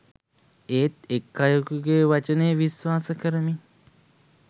ඒත් එක් අයෙකුගේ වචනය විශ්වාස කරමින්